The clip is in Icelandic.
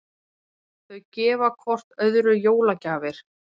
Þau gefa hvert öðru jólagjafir.